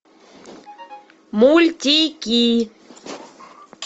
мультики